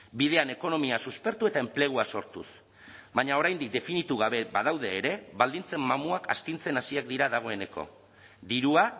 bidean ekonomia suspertu eta enplegua sortuz baina oraindik definitu gabe badaude ere baldintzen mamuak astintzen hasiak dira dagoeneko dirua